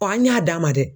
an y'a d'a ma dɛ